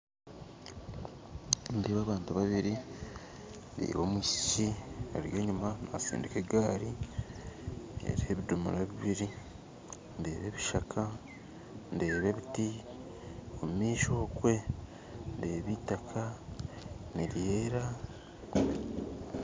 Nindeeba abantu babiiri ndeeba omwishiiki ari enyuma naastindiika egari eriho ebidoomora bibiiri ndeeba ebishaka ndeeba ebiti omumaisho okwe ndeeba itaaka niryeera